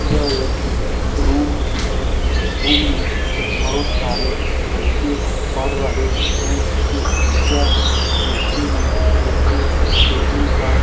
यह एक रूम है इस रूम में बहुत सारे लड़के पढ़ रहे हैं एक टीचर कुर्सी में बैठे टेबल पर --